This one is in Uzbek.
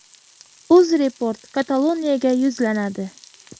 Uzreport Kataloniyaga yuzlanadi.